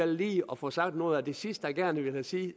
lige at få sagt noget af det sidste jeg gerne ville sige